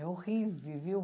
É horrível, viu?